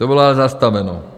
To bylo ale zastaveno.